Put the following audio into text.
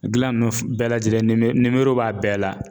Gilan nunnu f bɛɛ lajɛlen nimo nimero b'a bɛɛ la